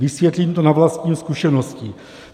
Vysvětlím to na vlastní zkušenosti.